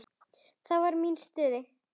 Þá var mín í stuði.